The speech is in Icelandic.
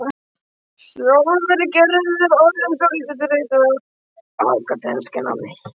Sjálf er Gerður orðin svolítið þreytt á akademísku námi.